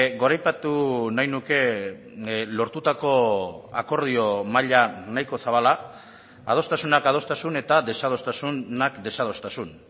goraipatu nahi nuke lortutako akordio maila nahiko zabala adostasunak adostasun eta desadostasunak desadostasun